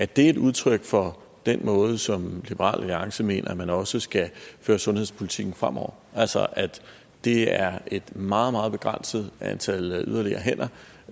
det et udtryk for den måde som liberal alliance mener man også skal føre sundhedspolitikken på fremover altså at det er et meget meget begrænset antal yderligere hænder